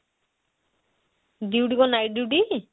duty କଣ night duty?